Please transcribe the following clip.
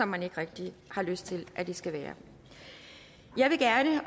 man ikke rigtig har lyst til at det skal være jeg vil gerne